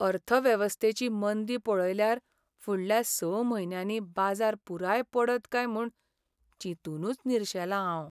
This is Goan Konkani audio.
अर्थवेवस्थेची मंदी पळयल्यार फुडल्या स म्हयन्यांनी बाजार पुराय पडत काय म्हूण चिंतूनच निर्शेलां हांव.